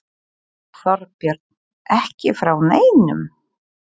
Þorbjörn: Ekki frá neinum?